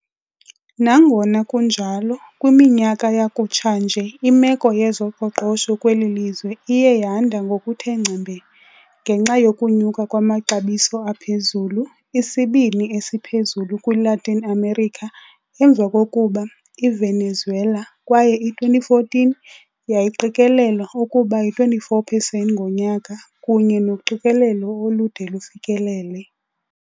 Nangona kunjalo, kwiminyaka yakutshanje imeko yezoqoqosho kweli lizwe iye yanda ngokuthe ngcembe, ngenxa yokunyuka kwamaxabiso aphezulu, isibini esiphezulu kwiLatin America emva kokuba iVenezuela kwaye i-2014 yayiqikelelwa ukuba yi-24 percent ngonyaka, kunye noqikelelo olude lufikelele.